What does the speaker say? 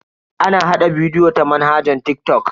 Ana hada bidiyo ta manhajar TikTok.